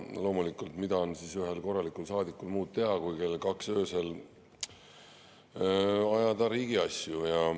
Loomulikult, mida on ühel korralikul saadikul muud kell kaks öösel teha kui ajada riigiasju.